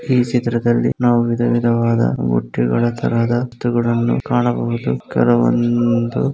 ಈ ಚಿತ್ರದಲ್ಲಿ ನಾವು ವಿಧವಿಧವಾದ ಬುಟ್ಟಿಗಳ ತರಹದ ತೊಗಡನ್ನು ಕಾಣಬಹುದು ಕೆಲವೊಂದು